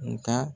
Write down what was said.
Nga